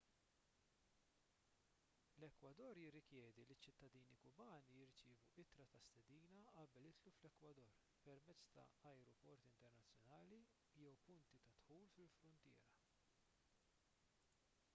l-ekwador jirrikjedi li ċ-ċittadini kubani jirċievu ittra ta' stedina qabel jidħlu fl-ekwador permezz ta' ajruporti internazzjonali jew punti ta' dħul fil-fruntiera